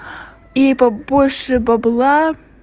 и побольше бабла